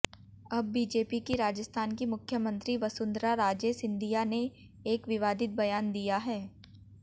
अब बीजेपी की राजस्थान की मुख्यमंत्री वसुंधरा राजे सिंधिया ने एक विवादित बयान दिया है